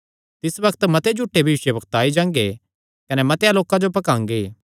तिस बग्त मते झूठे भविष्यवक्ता आई जांगे कने मतेआं लोकां जो भकांगे